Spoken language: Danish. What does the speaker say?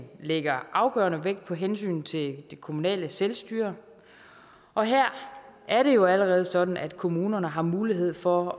lægger afgørende vægt på hensynet til det kommunale selvstyre og her er det jo allerede sådan at kommunerne har mulighed for